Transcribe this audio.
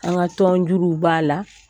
An ka tɔn juru b'a la.